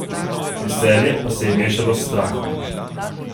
Veselje pa se je mešalo s strahom.